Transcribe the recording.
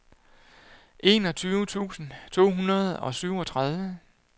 enogtyve tusind to hundrede og syvogtredive